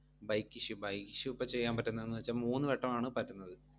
bike issue bike issue ഇപ്പൊ ചെയ്യാൻ പറ്റുന്നെന്നു വെച്ചാ മൂന്ന് വട്ടമാണ് പറ്റുന്നത്.